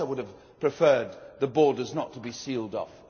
Of course I would have preferred the borders not to be sealed off.